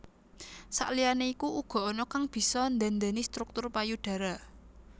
Sakliyane iku uga ana kang bisa ndhandhani struktur payudara